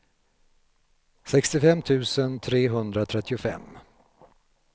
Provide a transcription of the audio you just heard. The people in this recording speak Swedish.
sextiofem tusen trehundratrettiofem